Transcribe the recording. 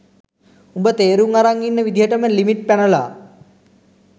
උඹ තේරුං අරන් ඉන්න විදිහටම ලිමිට් පැනලා